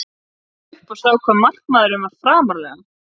Svo leit ég upp og sá hvað markmaðurinn var framarlega.